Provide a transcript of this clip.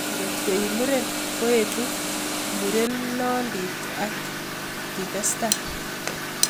Kotko imuren koetu murenondit ak kitestai.